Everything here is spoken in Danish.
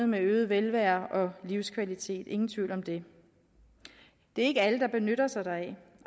med øget velvære og livskvalitet ingen tvivl om det det er ikke alle der benytter sig deraf